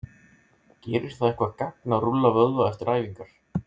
Gerir það eitthvað gagn að rúlla vöðva eftir æfingar?